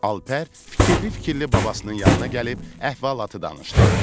Alper fikirli-fikirli babasının yanına gəlib əhvalatı danışdı.